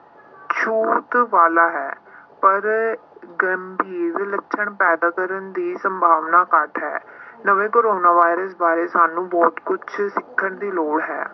ਛੂਤ ਵਾਲਾ ਹੈ ਪਰ ਗੰਭੀਰ ਲੱਛਣ ਪੈਦਾ ਕਰਨ ਦੀ ਸੰਭਾਵਨਾ ਘੱਟ ਹੈ ਨਵੇਂ ਕੋਰੋਨਾ ਵਾਇਰਸ ਬਾਰੇ ਸਾਨੂੰ ਬਹੁਤ ਕੁਛ ਸਿੱਖਣ ਦੀ ਲੋੜ ਹੈ।